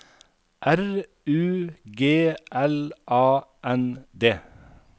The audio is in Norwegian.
R U G L A N D